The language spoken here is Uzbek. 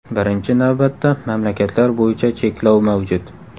Birinchi navbatda, mamlakatlar bo‘yicha cheklov mavjud.